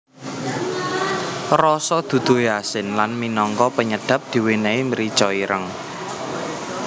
Rasa duduhe asin lan minangka penyedap diwenehi mrica ireng